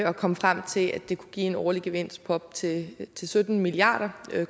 og kom frem til at det kunne give en årlig gevinst på op til til sytten milliard